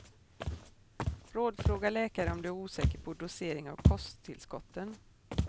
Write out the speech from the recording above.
Rådfråga läkare om du är osäker på dosering av kosttillskotten.